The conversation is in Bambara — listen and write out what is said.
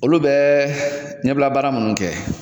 Olu bɛ ɲɛbila baara munnu kɛ.